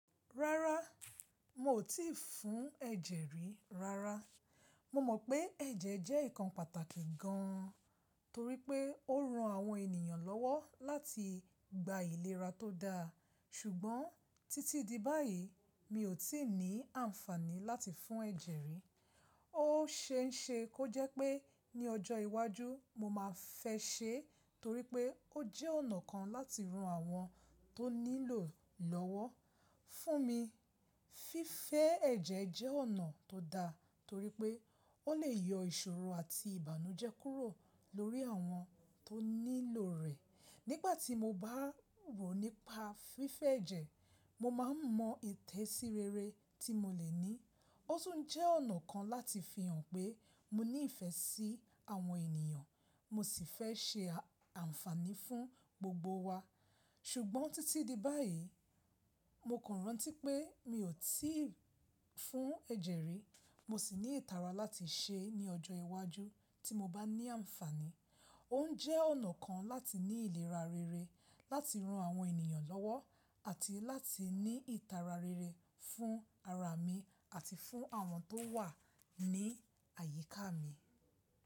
Rárá, n ó ti fún ẹ̀jẹ̀ rí rárá. Mo mọ̀ pé ẹ̀jẹ̀ jẹ́ nǹkan pàtàkì gan torípé ó ran àwọn ènìyàn lọ́wọ́ láti gba ìlera tó da. Ṣùgbọ́n títí di báyìí, mi ò tí ì ní àǹfàní láti fún ẹ̀jẹ̀ rí. Ó ṣeéṣe kó jẹ́ pé ní ọjọ́ iwájú mo máa fẹ́ ṣe torípé ó jẹ́ ọ̀nà kan láti ran àwọn tó nílò lọ́wọ́. Fún mi, fífẹ́ ẹ̀jẹ̀ jẹ́ ọ̀nà tó da torípé ó lè yọ ìṣòro àti ìbànújẹ́ kúrò lórí àwọn tó nílò rẹ̀. Nígbàtí mo bá rò nípa fífẹ́ ẹ̀jẹ̀, mo máa mọ ìtẹ̀síreere tí mo lè ní. Ó tún jẹ́ ọ̀nà kan láti fi hàn pé mo ní ìfẹ́ sí àwọn ènìyàn, mo sì fẹ́ ṣe àǹfàní fún gbogbo wa. Ṣùgbọ́n títí di báyìí, mo kàn rántí pé mi ò tí ì fún ẹ̀jẹ̀ rí. Mo sì ní ìtara láti ṣe é ní ọjọ́ iwájú tí mo bá ní àǹfàní. Ó jẹ́ ọ̀nà kan láti ní ìlera rere, láti ran àwọn ènìyàn lọ́wọ́ àti láti ní ìtara rere fún ara mi àti fún àwọn tó wà ní àyíká mi.